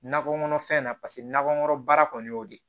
Nakɔ kɔnɔfɛn na paseke nakɔkɔnɔ baara kɔni y'o de ye